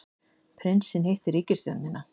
Prinsinn hittir ríkisstjórnina